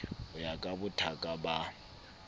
ho ya ka bothaka ba